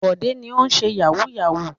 Bọ̀dé ni ó ń ṣe yahoo yahoo.